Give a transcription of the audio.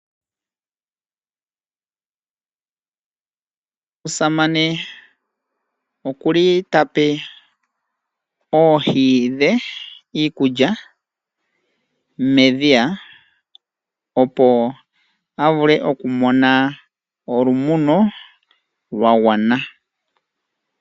Omusamane ota pe oohi dhe iikulya medhiya, opo a vule okumona olumono lwa gwana.